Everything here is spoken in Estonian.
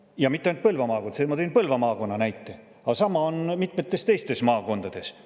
Ja mitte ainult Põlva maakonnas – ma tõin Põlva maakonna näite –, vaid sama on mitmetes teistes maakondades.